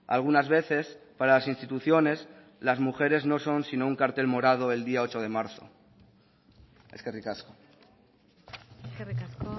algunas veces para las instituciones las mujeres no son sino un cartel morado el día ocho de marzo eskerrik asko eskerrik asko